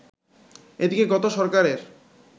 এদিকে গত সরকারের